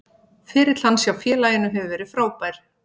Ferill hans hjá félaginu hefur verið frábær.